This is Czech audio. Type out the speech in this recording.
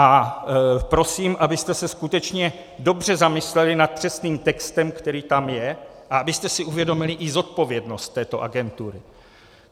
A prosím, abyste se skutečně dobře zamysleli nad přesným textem, který tam je, a abyste si uvědomili i zodpovědnost této agentury.